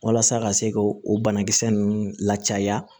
Walasa ka se ka o banakisɛ ninnu lacaaya